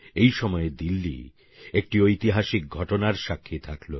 এই সময়ে দিল্লী একটি ঐতিহাসিক ঘটনার সাক্ষী থাকল